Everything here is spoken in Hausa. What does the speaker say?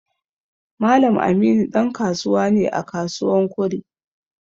Mallam Aminu dan kasuwa ne à kasuwan Kure.